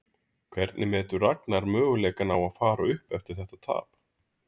Hvernig metur Ragnar möguleikana á að fara upp eftir þetta tap?